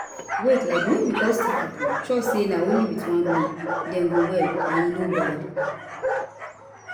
wait like no be all sick pipo trust say na only with one way dem go well and e no bad